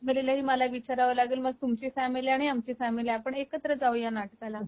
माझ्या मुलीला ही मला विचारव लागेल मग तुमची फॅमिली आणि आमची फॅमिली आपण एकत्र जाऊया नाटकाला